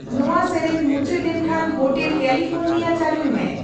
ᱱᱚᱶᱟ ᱥᱮᱹᱨᱮᱹᱧ ᱢᱩᱪᱟᱹᱫ ᱞᱮᱱᱠᱷᱟᱱ ᱦᱳᱴᱮᱞ ᱠᱮᱞᱤᱯᱷᱳᱨᱱᱤᱭᱟ ᱪᱟᱞᱩᱭ ᱢᱮ